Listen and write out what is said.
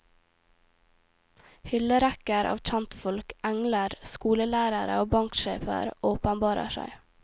Hyllerekker av kjentfolk, engler, skolelærere og banksjefer åpenbarer seg.